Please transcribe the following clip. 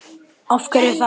Af hverju þá?